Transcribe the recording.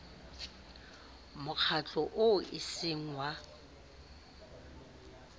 mokgatlo oo e seng wa